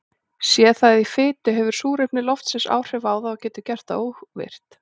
Sé það í fitu hefur súrefni loftsins áhrif á það og getur gert það óvirkt.